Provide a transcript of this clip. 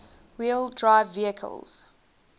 wheel drive vehicles